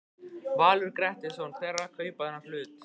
Valur Grettisson: Hver er að kaupa þennan hlut?